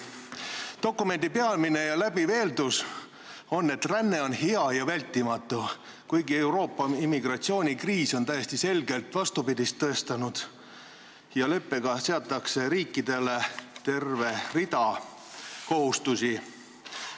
Dokumendi peamine ja läbiv eeldus on, et ränne on hea ja vältimatu, kuigi Euroopa immigratsioonikriis on täiesti selgelt vastupidist tõestanud, ja leppega seatakse riikidele terve rida kohustusi.